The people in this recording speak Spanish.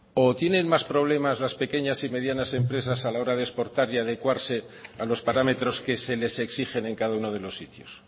o tienen más problemas las pequeñas y medianas empresas a la hora de exportar y adecuarse a los parámetros que se les exigen en cada uno de los sitios